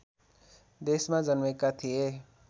देशमा जन्मेका थिए